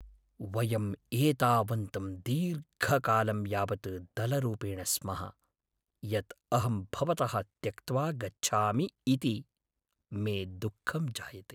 वयम् एतावन्तं दीर्घकालं यावत् दलरूपेण स्मः यत् अहं भवतः त्यक्त्वा गच्छामि इति मे दुःखं जायते।